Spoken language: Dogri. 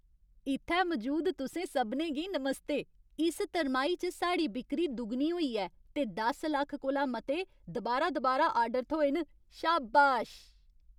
इ'त्थै मजूद तुसें सभनें गी नमस्ते। इस तरमाही च साढ़ी बिक्करी दुगनी होई ऐ ते दस लक्ख कोला मते दुबारा दुबारा आर्डर थ्होए न, शाबाश।